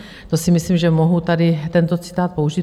To si myslím, že mohu tady tento citát použít.